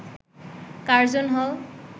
Curzon হল